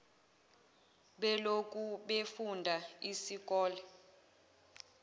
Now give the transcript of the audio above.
beloku befunda isikole